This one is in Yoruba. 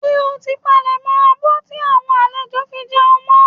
Ṣé o ti palẹ̀ abọ́ tí àwọn àlejò fi jẹun mọ́?